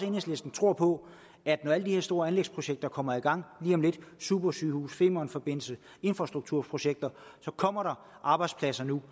enhedslisten tror på at når alle de her store anlægsprojekter kommer i gang lige om lidt supersygehuse femernforbindelsen infrastrukturprojekter så kommer der arbejdspladser nu